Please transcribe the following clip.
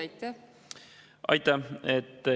Aitäh!